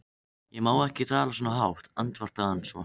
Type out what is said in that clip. Ég má ekki tala svona hátt, andvarpaði hann svo.